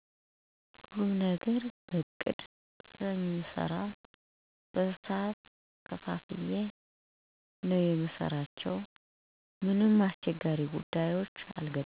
ሁሉንም ነገር በቅድ ስለምሰራ በሰዓት ከፋፍየ ነው የምሰራው አልቸገርም።